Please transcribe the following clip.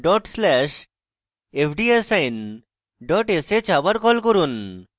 পূর্ববর্তী command dot slash fdassign dot sh আবার call করুন